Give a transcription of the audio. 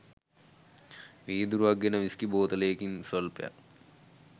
වීදුරුවක් ගෙන විස්කි බෝතලයකින් ස්වල්පයක්